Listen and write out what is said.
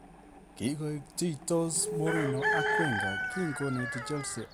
Kigoik tiichtos Mourinho ak Wenger kin koneti Chelsea ago kigur konetindonoton "nin" kin kesindan .